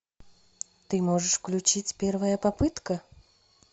ты можешь включить первая попытка